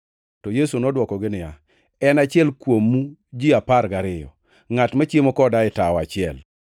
To Yesu nodwokogi niya, “En achiel kuomu ji apar gariyo, ngʼat machiemo koda e tawo achiel.